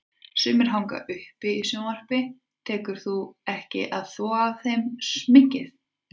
Sumir hanga uppi í sjónvarpi, tekur því ekki að þvo af þeim sminkið.